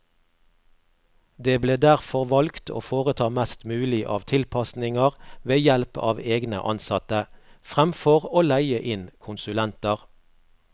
Det ble derfor valgt å foreta mest mulig av tilpasninger ved help av egne ansatte, fremfor å leie inn konsulenter.